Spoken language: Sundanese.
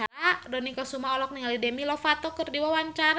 Dony Kesuma olohok ningali Demi Lovato keur diwawancara